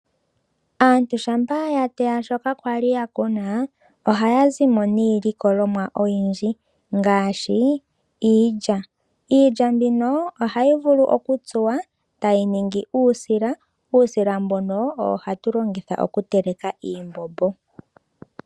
Aantu shampa ya teya shoka kwali ya kuna ohaya zimo niilikolomwa oyindji ngaashi, iilya. Iilya mbino ohayi vulu okutsuwa tayi ningi uusila, uusila mbono owo hatu longitha okutekela iimbombo.